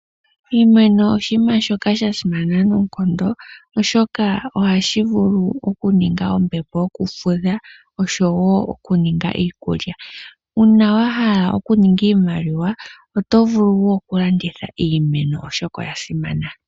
Iimeno oshinima shoka sha simana noonkondo, oshoka ohashi vulu okuninga ombepo yo kufudha, oshowo okuninga iikulya. Uuna wahala okuninga iimaliwa, otovulu woo okulanditha iimeno oshoka, oya simana.